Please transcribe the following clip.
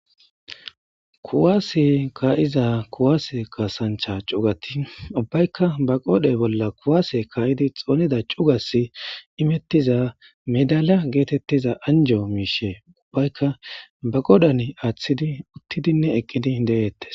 kuwaase kaa7iza kuwaase kaasancha cugati ubbaykka ba qoodhe bolla kuwaase kaa7idi xoonida cugas imettiza medala geetettiza anjo miishe ubbaykka ba qodan aaththidi uttidinne eqqidi de7eettes